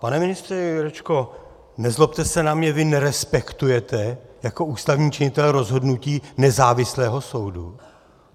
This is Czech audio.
Pane ministře Jurečko, nezlobte se na mě, vy nerespektujete jako ústavní činitel rozhodnutí nezávislého soudu?